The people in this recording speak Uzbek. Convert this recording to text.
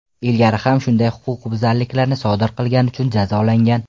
ilgari ham shunday huquqbuzarliklarni sodir qilgani uchun jazolangan.